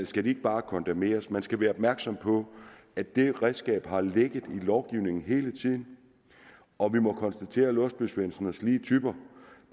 skal de ikke bare kondemneres man skal være opmærksom på at dette redskab har ligget i lovgivningen hele tiden og vi må konstatere at låsby svendsen og slige typer